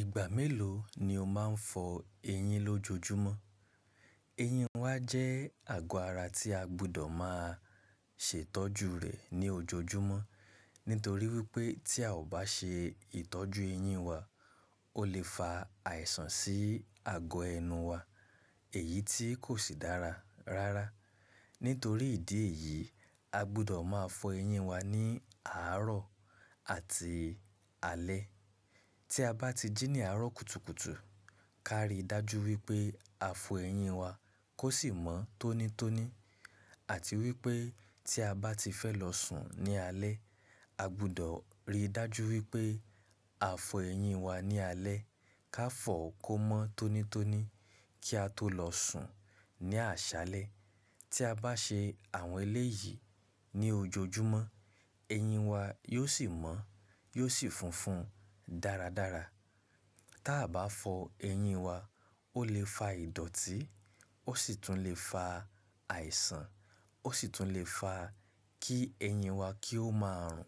Ìgbà mélòó ni o máa ń fọ eyín lójoojúmọ́? Eyín wa jẹ́ àgọ́ ara tí a gbọ́dọ̀ máa ṣètọ́jú rẹ̀ ní ojoojúmọ́. Nítorí wípé tí a ò bá ṣe ìtọ́jú eyín wa, ó lè fa àìsàn sí àgọ́ ẹnu wa, èyí tí kò sì dára rárá. Nítorí ìdí èyí, a gbọ́dọ̀ máa fọ eyín wa ní àárọ̀ àti alẹ́. Tí a bá ti jí ní àárọ̀ kùtùkùtù, ká rí dájú wípé a fọ eyín wa kó sì mọ́ tónítóní àti wípé tí a bá ti fẹ́ lọ sùn ní alẹ́, a gbọ́dọ̀ rí dájú wípé a fọ eyín wa ní alẹ́ ká fọ kó mọ́ tónítóní kí a tó lọ sùn ní àṣálẹ́. Tí a bá ṣe àwọn eléyìí ní ojoojúmọ́, eyín wa yóò sì mọ́, yóò sì funfun dáradára. Tí a bá fọ eyín wa, ó lè fa ìdọ̀tí, ó sì tún lè fa àìsàn, ó sì tún lè fa kí eyín wa kí ó máa rùn.